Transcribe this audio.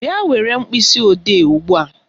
Bịa were mkpịsịodee ugbua